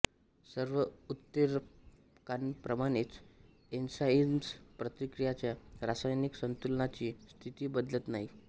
सर्व उत्प्रेरकांप्रमाणेच एन्झाइम्स प्रतिक्रियाच्या रासायनिक संतुलनाची स्थिती बदलत नाहीत